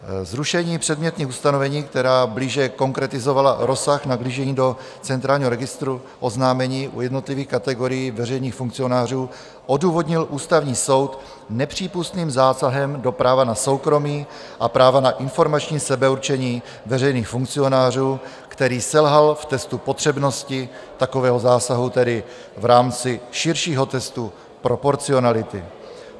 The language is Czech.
Zrušení předmětných ustanovení, která blíže konkretizovala rozsah nahlížení do centrálního registru oznámení u jednotlivých kategorií veřejných funkcionářů, odůvodnil Ústavní soud nepřípustným zásahem do práva na soukromí a práva na informační sebeurčení veřejných funkcionářů, který selhal v testu potřebnosti takového zásahu, tedy v rámci širšího testu proporcionality.